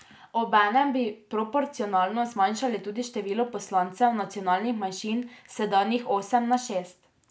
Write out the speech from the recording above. Obenem bi proporcionalno zmanjšali tudi število poslancev nacionalnih manjšin s sedanjih osem na šest.